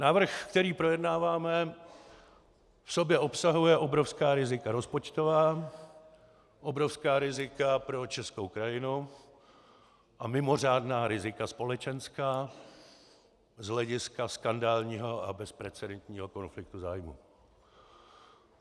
Návrh, který projednáváme, v sobě obsahuje obrovská rizika rozpočtová, obrovská rizika pro českou krajinu a mimořádná rizika společenská z hlediska skandálního a bezprecedentního konfliktu zájmů.